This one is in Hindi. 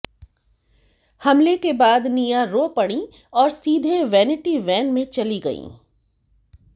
हमले के बाद निया रो पड़ीं और सीधे वैनिटी वैन में चली गईं